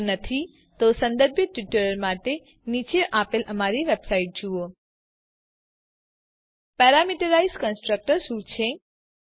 જો નહી તો સંબંધિત ટ્યુટોરીયલ માટે નીચે દર્શાવેલ અમારી વેબસાઈટ જુઓ httpwwwspoken tutorialઓર્ગ પેરામીટરાઈઝ કન્સ્ટ્રક્ટર શું છે